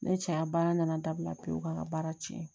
Ne cɛya baara nana dabila pewu ka baara cɛn